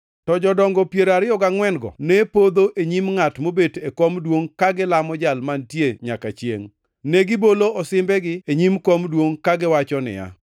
to jodongo piero ariyo gangʼwen-go ne podho e nyim ngʼat mobet e kom duongʼ ka gilamo Jal Mantie nyaka chiengʼ. Negibolo osimbegi e nyim kom duongʼ kagiwacho niya: